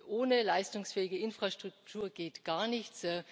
Ohne leistungsfähige Netzinfrastruktur geht gar nichts.